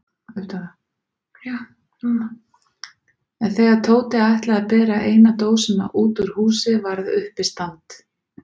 En þegar Tóti ætlaði að bera eina dósina út úr húsinu varð uppistand.